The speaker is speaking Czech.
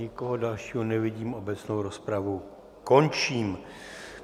Nikoho dalšího nevidím, obecnou rozpravu končím.